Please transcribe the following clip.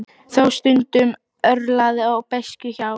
Þó stundum örlaði á beiskju hjá